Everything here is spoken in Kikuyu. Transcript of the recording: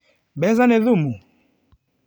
Mbeca nĩ thumu?